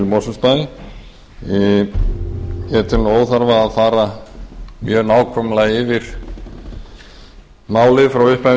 mosfellsbæ ég tel óþarfa að fara mjög nákvæmlega yfir málið frá upphafi